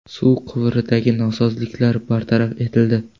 Suv quvuridagi nosozliklar bartaraf etildi.